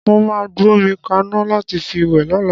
Mó máa gbómi kaná láti fi wẹ̀ lọ́la.